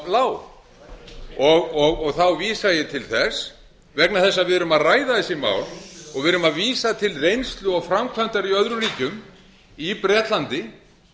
lág þá vísa ég til þess vegna þess að við erum að ræða þessi mál og við erum að vísa til reynslu og framkvæmdar í öðrum ríkjum í bretlandi